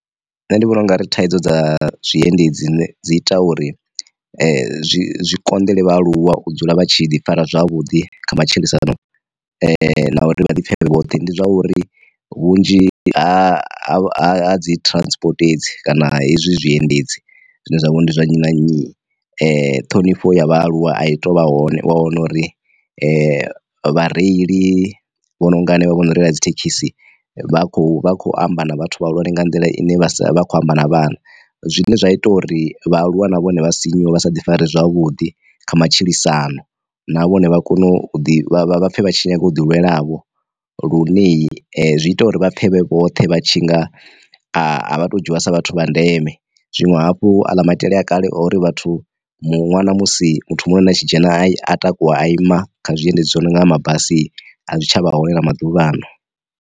Nṋe ndi vhona u nga ri thaidzo dza zwiendedzi dzine dzi ita uri zwi konḓele vha aluwa u dzula vha tshi ḓi fara zwavhuḓi kha matshilisano, na uri vha litshe vhoṱhe ndi zwauri vhunzhi ha dzi transport hedzi kana hezwi zwi endedzi zwine zwavha ndi zwa nnyi na nnyi, ṱhonifho ya vhaaluwa a i tovha hone wa wana uri vha reili vho no nga henevha vho no reila dzi thekhisi vha kho vha khou amba na vhathu vha hulwane nga nḓila ine vha sa khou amba na vhana zwine zwa ita uri vhaaluwa na vhone vha sinyuwa vha sa ḓi fara zwavhuḓi kha matshilisano na vhone vha kone u ḓi vha pfhe vha tshi nyaga u ḓi lwela vho lune zwi ita uri vhapfe vhe vhoṱhe vha tshi nga a vhato dzhia sa vhathu vha ndeme. Zwinwe hafhu a ḽa maitele a kale ori vhathu mu ṅwana musi muthu muṅwe na tshi dzhena a takuwa a ima kha zwiendedzi zwo no nga mabasi a zwi tsha vha hone na maḓuvhano.